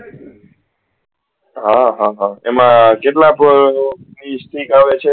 હા હા હા એમાં કેટલા સ્ટીક આવે છે